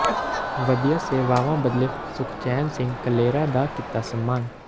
ਵਧੀਆ ਸੇਵਾਵਾਂ ਬਦਲੇ ਸੁਖਚੈਨ ਸਿੰਘ ਕਲੇਰਾਂ ਦਾ ਕੀਤਾ ਸਨਮਾਨ